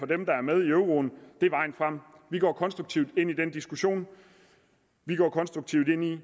dem der er med i euroen er vejen frem vi går konstruktivt ind i den diskussion vi går konstruktivt ind i at